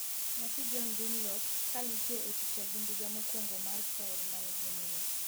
nyathi John Dunlop ka nitie e picha gi ndiga mokwongo mar tael manigi muya